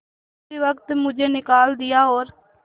उसी वक्त मुझे निकाल दिया और